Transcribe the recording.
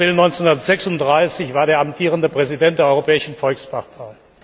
19. April 1936, war der amtierende Präsident der Europäischen Volkspartei.